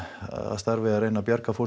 starfi að reyna að bjarga fólki